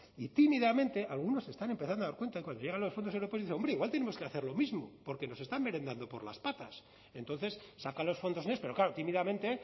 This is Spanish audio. y tímidamente algunos están empezando a dar cuenta cuando llegan los fondos europeos dice hombre igual tenemos que hacer lo mismo porque nos están merendando por las patas entonces sacan los fondos next pero claro tímidamente